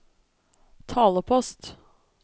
talepost